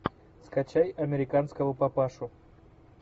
скачай американского папашу